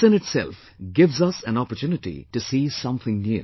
This in itself gives us an opportunity to see something new